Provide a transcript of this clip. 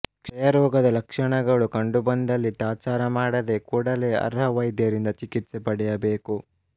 ಕ್ಷಯರೋಗದ ಲಕ್ಷ್ಮಣಗಳು ಕಂಡುಬಂದಲ್ಲಿ ತಾತ್ಸಾರ ಮಾಡದೆ ಕೂಡಲೇ ಅರ್ಹ ವೈದ್ಯರಿಂದ ಚಿಕಿತ್ಸೆ ಪಡೆಯಬೇಕು